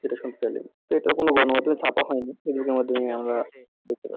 যেটা শুনতে চাইলেন তো এটা কোনো বানোয়াট না ছাপা হয়নি